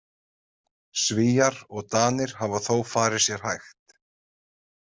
Svíar og Danir hafa þó farið sér hægt.